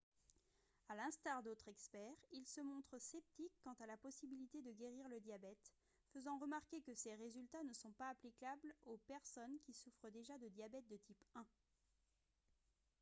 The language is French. à l'instar d'autres experts il se montre sceptique quant à la possibilité de guérir le diabète faisant remarquer que ces résultats ne sont pas applicables aux personnes qui souffrent déjà de diabète de type 1